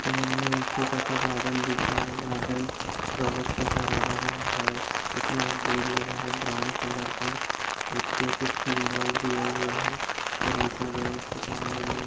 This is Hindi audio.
इमेज मे एक छोटा सा गार्डन दिख रहा है गार्डन से हरा-भरा है उसमे एक बोर्ड लगा है ब्राउन कलर का उसपे कुछ सिम्बल दिए हुए है और लिखा गया उसके सामने में --